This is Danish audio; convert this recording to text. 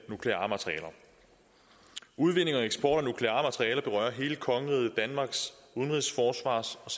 nukleare materialer udvinding og eksport af nukleare materialer berører hele kongeriget danmarks udenrigs forsvars og